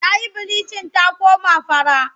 Ta yi bilicin ta koma fara.